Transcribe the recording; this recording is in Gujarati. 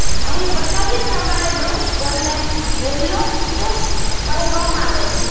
અહીં બતાવ્યા પ્રમાણે વૃક્ષ ઘરને હેલ્લોફ્ટ કહેવામાં આવે છે